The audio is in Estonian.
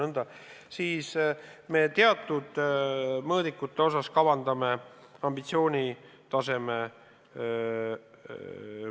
Aga me teatud mõõdikute osas kavandame ambitsioonitaseme tõusu.